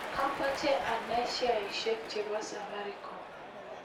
Amoche anai sheaisiek chebo Safaricom